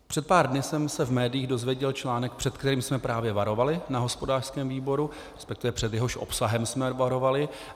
Před pár dny jsem se v médiích dozvěděl článek, před kterým jsme právě varovali na hospodářském výboru, respektive před jehož obsahem jsme varovali.